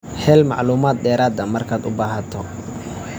Hel macluumaad dheeraad ah markaad u baahato.